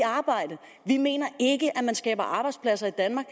arbejde vi mener ikke at man skaber arbejdspladser i danmark